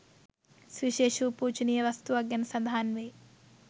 සුවිශේෂ වූ පූජනීය වස්තුවක් ගැන සඳහන් වෙයි.